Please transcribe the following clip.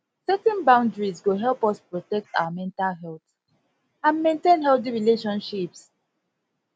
setting boundaries go help us protect our mental health and maintain healthy relationships